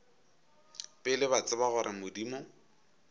pele ba tseba gore modimo